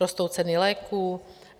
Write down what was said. Rostou ceny léků.